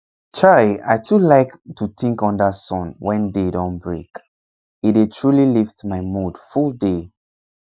chai i too like to think under sun wen day don break e dey truly lift my mood full day